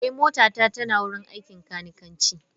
Eh, motata tana wurin aikin kanikanci.